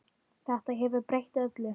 Þetta hefur breytt öllu.